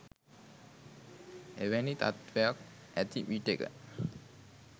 එවැනි තත්ත්වයක් ඇති විටෙක